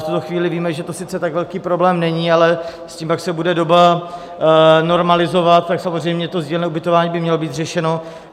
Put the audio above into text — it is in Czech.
V tuto chvíli víme, že to sice tak velký problém není, ale s tím, jak se bude doba normalizovat, tak samozřejmě to sdílné ubytování by mělo být řešeno.